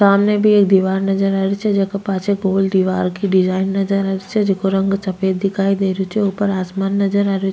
सामने भी एक दिवार नजर आ रही छे जेका पाछे पूल दिवार की डिज़ाइन नजर आ रही छे जेको रंग सफ़ेद दिखाई दे रहियो छे ऊपर आसमान नजर आ रहियो।